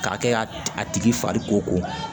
K'a kɛ ka a tigi fari ko